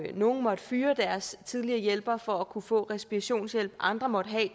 nogle måtte fyre deres tidligere hjælper for at kunne få respirationshjælp og andre måtte